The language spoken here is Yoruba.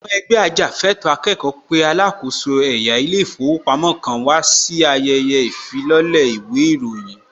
Àwọn ẹgbẹ́ ajàfẹ́ẹ̀tọ́ akẹ́kọ̀ọ́ pé alákòóso ẹ̀yà ilé ìfowópamọ́ kan wà sí ayẹyẹ ìfilọ́lẹ̀ īwé īròyīn